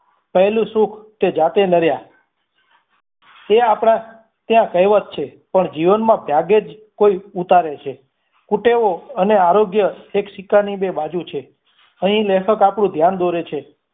પહેલું સુખ તે જાતે નર્યા તે આપડા તે કેહવત છે પણ જીવનમાં ત્યાગે જ કોઈ ઉતારે છે ખુટેવ અને આરોગ્ય સિક્કા ની બે બાજુ છે અહીં લેખક આપણું ધ્યાન દોરે છે